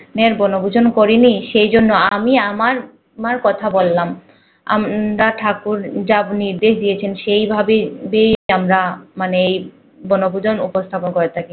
মের বনভূজন করেনি সেজন্য আমি আমার আমার কথা বলাম। আমরা ঠাকুর যা নির্দেশ সেভাবে আমরা মানে এই বনভুজং উপস্থাপন করে থাকি